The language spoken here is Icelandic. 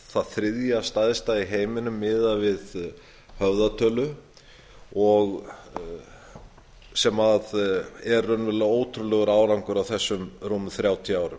er þriðja stærsta í heiminum miðað við höfðatölu sem er ótrúlegur árangur á þessum rúmu þrjátíu árum